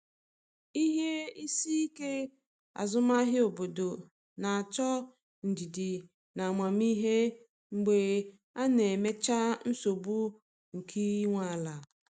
Ihe isi ike azụmahịa obodo na-achọ ndidi na amamihe mgbe a na-emechaa nsogbu nke ị nwe ala.